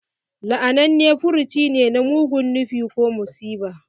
La'ananne furci ne na mugun nufi ko musiba.